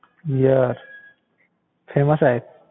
Beer famous आहे?